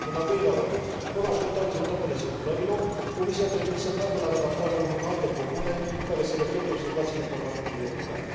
În al doilea rând, fără a aștepta rezultatele simulărilor, Comisia ar trebui să treacă la redactarea unei alte propuneri, care să reflecte observațiile Parlamentului European.